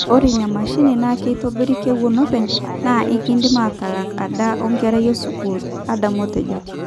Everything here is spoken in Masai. Ore ena mashini naa kitobir kewon openy naa ikindim atalak ada oo nkera esukul ,''Adam otejo.